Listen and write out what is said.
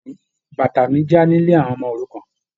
Bàtà mí já ní ilé àwọn ọmọ-òrukàn.